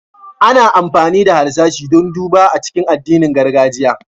Ana amfani da harsashi don duba a cikin addinin gargajiya.